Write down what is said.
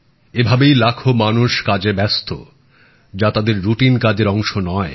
এভাবেই লাখো মানুষ কাজে ব্যস্ত যা তাদের রুটিন কাজের অংশ নয়